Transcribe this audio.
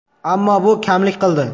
Ammo, bu kamlik qildi.